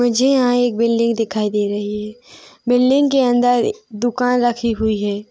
मुझे यहाँ एक बिल्डिंग दिखाई दे रही है बिल्डिंग के अंदर दुकान रखी हुई है।